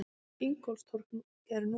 Ingólfstorg er núna.